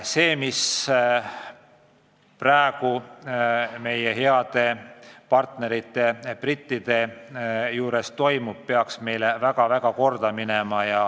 See, mis praegu meie heade partnerite brittide juures toimub, peaks meile väga korda minema.